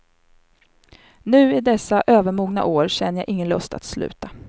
Nu i dessa övermogna år känner jag ingen lust att sluta.